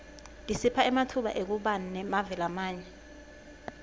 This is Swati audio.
tisipha ematfuba ekubana emave lamanye